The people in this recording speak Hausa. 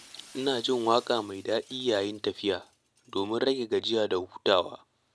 Ina jin waƙa mai daɗi yayin tafiya domin rage gajiya da hutawa.